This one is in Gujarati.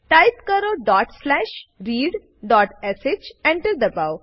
ટાઈપ કરો ડોટ સ્લેશ readશ એન્ટર દબાઓ